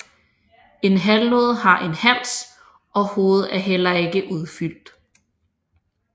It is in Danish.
En halvnode har en hals og hovedet er heller ikke udfyldt